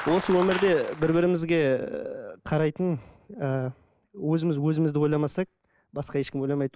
осы өмірде бір бірімізге қарайтын ы өзіміз өзімізді ойламасақ басқа ешкім ойламайды